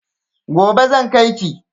Gobe zan kai ki.